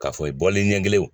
K'a fɔ i bɔli ɲɛ kelen o